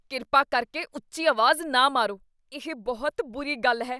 ਕਿਰਪਾ ਕਰਕੇ ਉੱਚੀ ਆਵਾਜ਼ ਨਾ ਮਾਰੋ, ਇਹ ਬਹੁਤ ਬੁਰੀ ਗੱਲ ਹੈ।